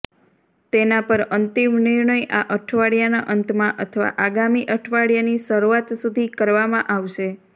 તેના પર અંતિમ નિર્ણય આ અઠવાડિયાના અંતમાં અથવા આગામી અઠવાડિયાની શરૂઆત સુધી કરવામાં આવશે